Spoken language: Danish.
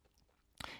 DR K